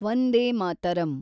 Vande Mataram